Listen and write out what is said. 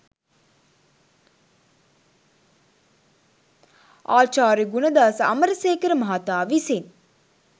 ආචාර්ය ගුණදාස අමරසේකර මහතා විසින්